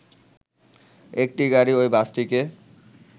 একটি গাড়ি ওই বাসটিকে